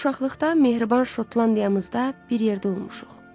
Uşaqlıqda mehriban Şotlandiyamızda bir yerdə olmuşuq.